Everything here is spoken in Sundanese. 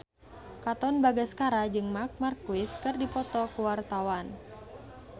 Katon Bagaskara jeung Marc Marquez keur dipoto ku wartawan